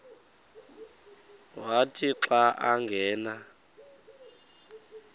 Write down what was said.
wathi xa angena